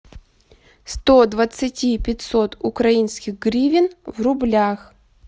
сто двадцати пятьсот украинских гривен в рублях